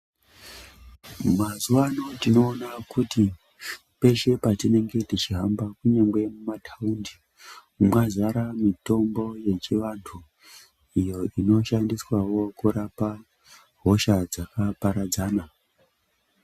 Mazuwa ano tinoona kuti peshe patinenge techihamba kunyangwe mumataundi mwazare mitombo yechiantu iyo inoshandiswawo kurapa hosha dzakaparadzana.